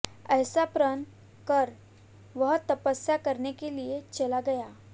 ऐसा प्रण कर वह तपस्या करने के लिए चला गया